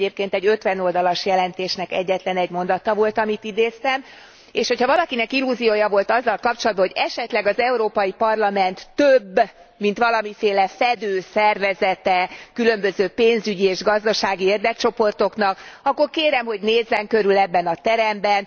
Ez egyébként egy 50 oldalas jelentésnek egyetlenegy mondata volt, amit idéztem, és hogyha valakinek illúziója volt azzal kapcsolatban, hogy esetleg az Európai Parlament több mint valamiféle fedő szervezete különböző pénzügyi és gazdasági érdekcsoportoknak, akkor kérem, hogy nézzen körül ebben a teremben.